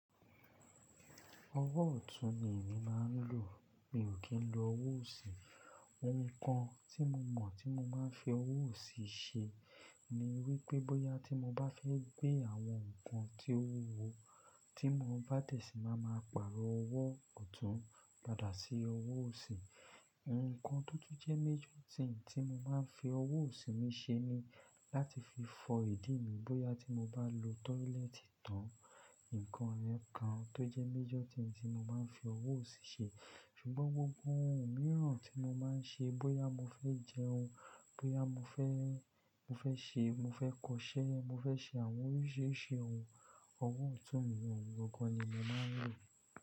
Owó ọ̀tún ni èmi máa ń lò. Mi ò kí ń lo owó òsì. Ohun kan tí mo mọ̀ tí mo máa ń fi owó òsì ṣe ni wípé bóyá tí mo bá fẹ́ gbé àwọn nǹkan tí ó wu wo tí mo bá de si máa ma pààrọ̀ owó ọ̀tún padà sí owó òsì. Ohun kan tó jẹ́ major thing tí mo máa ń fi owó òsì mi ṣe ni láti fi fọ ìdí mi bóyá tí mo bá lo toilet tán. Nǹkan rẹ kan tó jẹ́ major thing tí mo máa ń fi owó òsì ṣe. Ṣùgbọ́n gbogbo ohun mìíràn tí mo máa ń ṣe, bóyá mo fẹ́ jẹ oún, bóyá mo fẹ́, mo fẹ́ ṣe, mo fẹ́ kọṣẹ́, mo fẹ́ ṣe àwọn oríṣiríṣi ohun, owó ọ̀tún mi òun gangan ni mo máa ń lò.